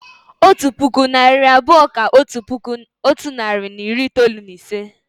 Otu puku, narị abụọ kà otu puku otu nari na iri itoolu na ise